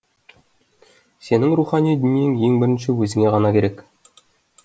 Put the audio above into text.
сенің рухани дүниең ең бірінші өзіңе ғана керек